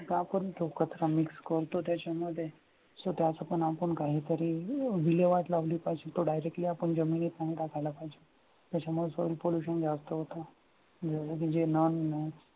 आपण तो कचरा mix करतो त्याच्यामध्ये. so त्याचं पण आपण कहीतरी विल्हेवाट लावली पाहिजे तो directly आपण जमिनीत नाही टाकायला पाहिजे. त्याच्यामुळे soil pollution जास्त होतं.